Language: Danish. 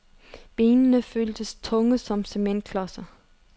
Benene føltes tunge som cementklodser.